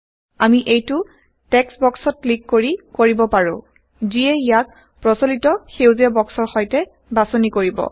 আমি এইটো টেক্সট বক্সত ক্লিক কৰি কৰিব পাৰো যিয়ে ইয়াক প্ৰচলিত সেউজীয়া160 বক্সৰ সৈতে বাচনি কৰিব